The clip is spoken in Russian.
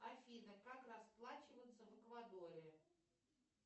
афина как расплачиваться в эквадоре